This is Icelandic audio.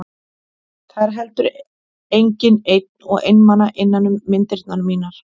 Það er heldur enginn einn og einmana innan um myndirnar mínar.